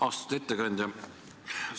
Austatud ettekandja!